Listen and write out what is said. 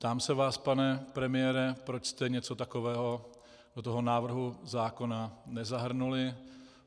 Ptám se vás, pane premiére, proč jste něco takového do toho návrhu zákona nezahrnuli.